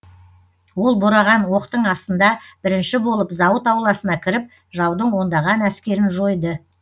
ол бораған оқтың астында бірінші болып зауыт ауласына кіріп жаудың ондаған әскерін жойды